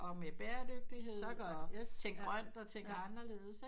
Og med børerdygtighed og tænk grønt og tænk anderledes ikke